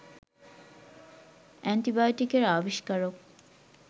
অ্যান্টিবায়োটিকের আবিস্কারক